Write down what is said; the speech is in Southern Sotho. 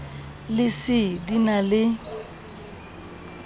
le c di na le